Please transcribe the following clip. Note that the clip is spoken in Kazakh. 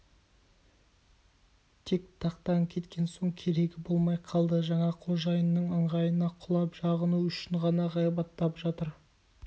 тек тақтан кеткен соң керегі болмай қалды жаңа қожайынның ыңғайына құлап жағыну үшін ғана ғайбаттап жатыр